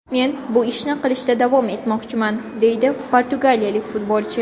Men bu ishni qilishda davom etmoqchiman”, deydi portugaliyalik futbolchi.